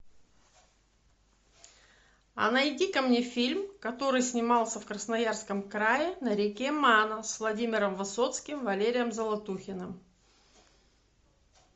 а найди ка мне фильм который снимался в красноярском крае на реке мана с владимиром высоцким и валерием золотухиным